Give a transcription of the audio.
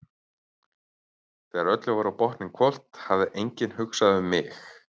Þegar öllu var á botninn hvolft hafði enginn hugsað um mig.